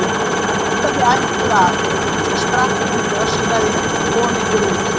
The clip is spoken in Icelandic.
Ég held að þið ættuð að. svo sprakk hún og öskraði: KOMA YKKUR ÚT!